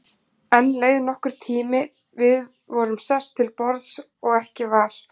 Enn leið nokkur tími, við vorum sest til borðs og ekki var